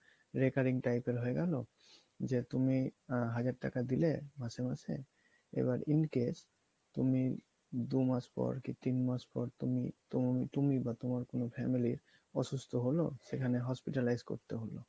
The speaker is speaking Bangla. recurring type এর একটা হয়ে গেলো যে তুমি আহ হাজার টাকা দিলে মাসে মাসে এবার incase তুমি দু মাস পর কী তিনমাস পর তুমি তুম~ তুমিই বা তোমার কোনো family অসুস্থ হলো সেখানে hospitalized করতে হলো।